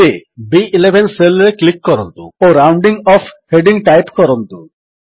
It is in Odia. ଏବେ ବି11 ସେଲ୍ ରେ କ୍ଲିକ୍ କରନ୍ତୁ ଓ ରାଉଣ୍ଡିଂ ଅଫ୍ ହେଡିଙ୍ଗ୍ ଟାଇପ୍ କରନ୍ତୁ